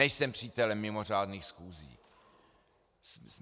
Nejsem přítelem mimořádných schůzí.